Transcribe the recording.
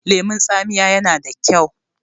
lemon taamiya yana da kyau